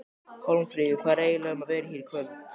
Hólmfríður, hvað er eiginlega um að vera hér í kvöld?